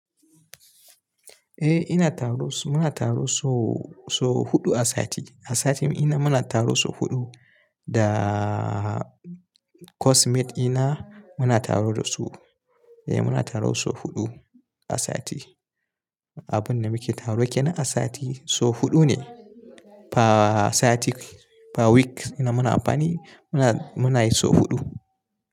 Eh ina taro, muna taro so, so huɗu a sati. A sati muna taro so huɗu, da course mate dina muna taro da su. Eh muna taro so huɗu a sati. Abun da muke taro ke nan a sati so huɗu ne. Pa sati, pa week ina, muna amfani muna, muna yi so huɗu.